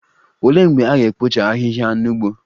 Olee mgbe a ga-ekpocha ahịhịa n'ugbo?